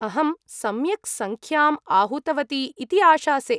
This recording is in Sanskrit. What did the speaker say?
अहं सम्यक् सङ्ख्याम् आहूतवती इति आशासे।